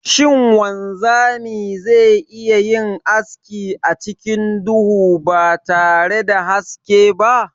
Shin wanzami ze iya yin aski acikin duhu batare da haske ba?